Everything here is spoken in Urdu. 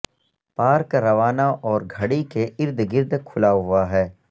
پارک روزانہ اور گھڑی کے ارد گرد کھلا ہوا ہے